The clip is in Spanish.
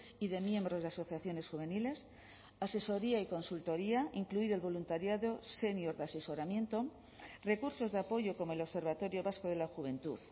y de miembros de asociaciones juveniles asesoría y consultoría incluido el voluntariado senior de asesoramiento recursos de apoyo como el observatorio vasco de la juventud